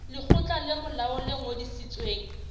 lekgotla le molaong le ngodisitsweng